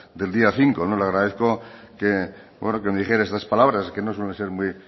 del día cinco le agradezco que me dijera estas palabras que no suelen ser muy